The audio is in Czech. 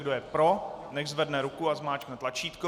Kdo je pro, nechť zvedne ruku a zmáčkne tlačítko.